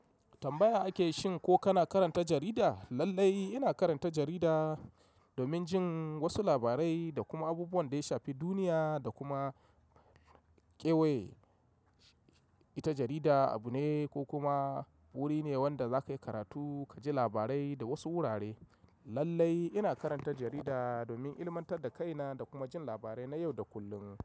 Tambaya ake shin ko kana karanta jarida? Lallai ina karanta jarida domin jin wasu labarai da kuma abubuwan da ya shafi duniya da kuma ƙewaye. Ita jarida abu ne ko kuma wuri ne wanda za ka yi karatu ka ji labarai da wasu wurare. Lallai ina karanta jarida domin ilmantar da kaina da kuma jin labarai na yau da kullum.